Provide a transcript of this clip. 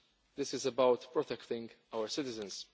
This is about protecting our citizens.